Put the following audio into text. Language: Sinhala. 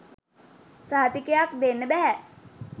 සහතිකයක් දෙන්න බැහැ.